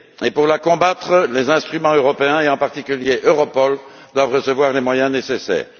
Pour la combattre, les instruments européens, en particulier Europol, doivent recevoir les moyens nécessaires.